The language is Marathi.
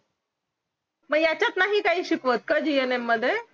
मग ह्याच्यात नाही शिकवत का gum मध्ये